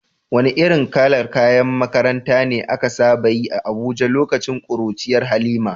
Wane irin kalar kayan makaranta ne aka saba yi a Abuja lokacin kuruciyar Halima?